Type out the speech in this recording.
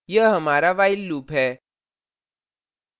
यह हमारा while loop है